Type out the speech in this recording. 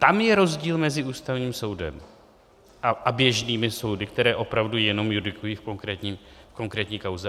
Tam je rozdíl mezi Ústavním soudem a běžnými soudy, které opravdu jenom judikují v konkrétní kauze.